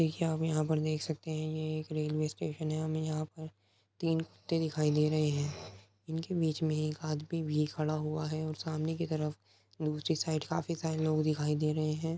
देखिये आप यहाँ पर देख सकते है ये एक रेलवे स्टेशन है हमे यहाँ पर तीन कुत्ते दिखाई दे रहे हैं इनके बिचमे एक आदमी भि खड़ा हुआ है और सामने की तरफ दूसरी साइड काफी सारे लोग दीखाई दे रहे हैं।